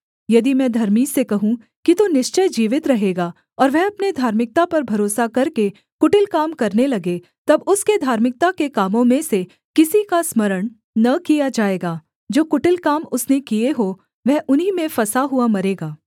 यदि मैं धर्मी से कहूँ कि तू निश्चय जीवित रहेगा और वह अपने धार्मिकता पर भरोसा करके कुटिल काम करने लगे तब उसके धार्मिकता के कामों में से किसी का स्मरण न किया जाएगा जो कुटिल काम उसने किए हों वह उन्हीं में फँसा हुआ मरेगा